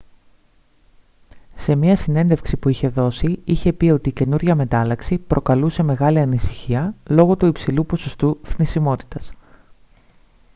σε μια συνέντευξη που είχε δώσει είχε πει ότι η καινούργια μετάλλαξη «προκαλούσε μεγάλη ανησυχία λόγω του υψηλού ποσοστού θνησιμότητας»